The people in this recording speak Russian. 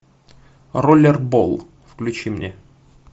роллербол включи мне